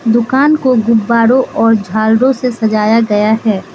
दुकान को गुब्बारों और झालरों से सजाया गया है।